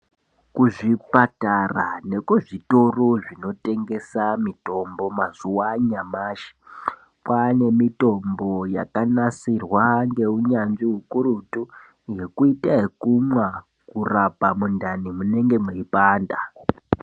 Kuzvipatara nekuzvitoro zvinoyengesa mitombo maazuwa anyamashi kwaane mitombo yakanasirwa ngeunyanzvi hukurutu yekuita ekumwa mundani munenge meipanda.